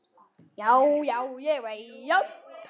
Já, já, ég veit.